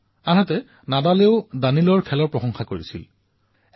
তেওঁ কলে যে কিদৰে নাডালে লক্ষাধিক যুৱচামক টেনিছৰ বাবে উৎসাহিত কৰিবলৈ সমৰ্থ হৈছে